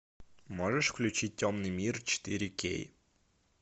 можешь включить темный мир четыре кей